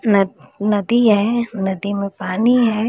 नदी है नदी में पानी है।